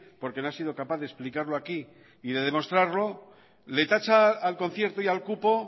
porque no ha sido capaz de explicarlo aquí y de demostrarlo le tacha al concierto y al cupo